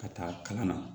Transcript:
Ka taa kalan na